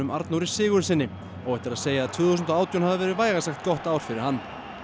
Arnóri Sigurðssyni óhætt er að segja að tvö þúsund og átján hafi verið vægast sagt gott ár fyrir hann